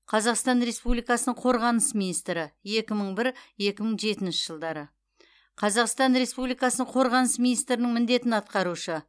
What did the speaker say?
қазақстан республикасының қорғаныс министрі екі мың бір екі мың жетінші жылдары қазақстан республикасының қорғаныс министрінің міндетін атқарушы